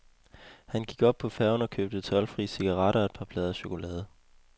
Han gik op på færgen og købte toldfri cigaretter og et par plader chokolade.